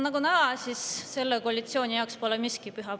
Nagu näha, pole selle koalitsiooni jaoks miski püha.